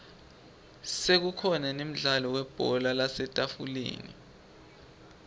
sekukhona nemdlalo webhola lasetafuleni